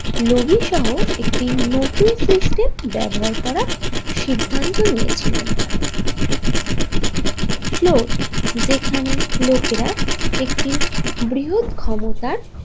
Lobby সহ একটি নতুন সিস্টেম ব্যবহার করা সিদ্ধান্ত নিয়েছিলেন তারা ফ্লোর যেখানে লোকেরা একটি বৃহৎ ক্ষমতার।